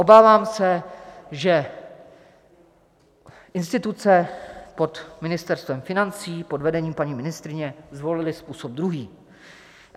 Obávám se, že instituce pod Ministerstvem financí pod vedením paní ministryně zvolily způsob druhý.